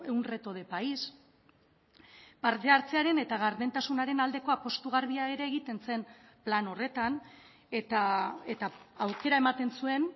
un reto de país parte hartzearen eta gardentasunaren aldeko apustu garbia ere egiten zen plan horretan eta aukera ematen zuen